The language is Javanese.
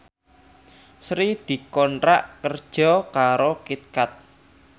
Sri dikontrak kerja karo Kit Kat